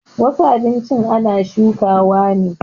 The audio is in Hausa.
Wasu abinchin ana shukawa ne